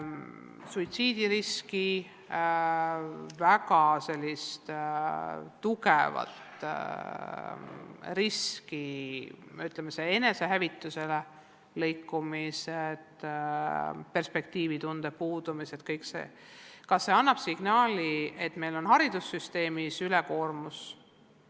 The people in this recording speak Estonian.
Suitsiidirisk, väga tugev kalduvus enesehävitusele, lõikumised, perspektiivitunde puudumine – kas see kõik annab signaali, et meil on haridussüsteemis ülekoormus?